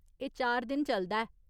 एह् चार दिन चलदा ऐ।